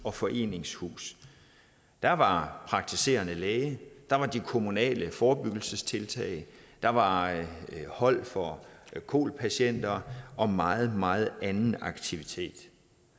og foreningshus der var praktiserende læge der var de kommunale forebyggelsestiltag der var hold for kol patienter og meget meget anden aktivitet